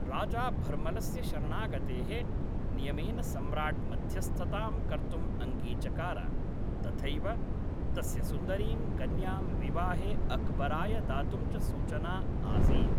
राजा भर्मलस्य शरणागतेः नियमेन सम्राट् मध्यस्थतां कर्तुम् अङ्गीचकार, तथैव तस्य सुन्दरीं कन्यां विवाहे अक्बराय दातुं च सूचना आसीत्।